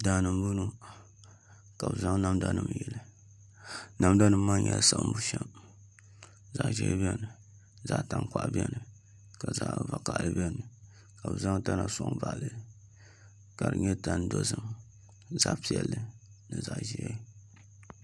Daani n bɔŋɔ ka bi zaŋ namda nim yili namda nim maa nyɛla siɣim bushɛm zaɣ ʒiɛ biɛni zaɣ tankpaɣu biɛni ka zaɣ vakaɣali biɛni ka bi zaŋ tana soŋ baɣali li ka di nyɛ tani dozim zaɣ ʒiɛ ni zaɣ vakaɣali